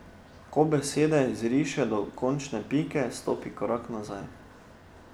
Ko besede izriše do končne pike, stopi korak nazaj.